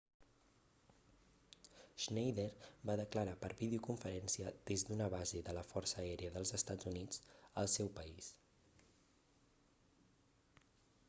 schneider va declarar per videoconferència des d'una base de la força aèria dels estats units al seu país